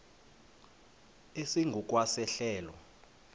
esingu kwa sehlelo